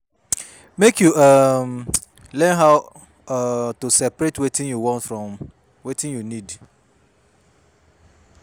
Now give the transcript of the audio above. Mek yu um learn how um to seperate wetin yu want from wetin yu nid